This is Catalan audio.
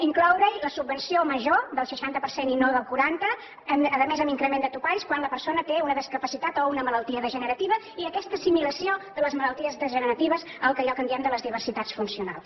incloure hi la subvenció major del seixanta per cent i no del quaranta a més amb increment de topalls quan la persona té una discapacitat o una malaltia degenerativa i aquesta assimilació de les malalties degeneratives allò que en diem de les diversitats funcionals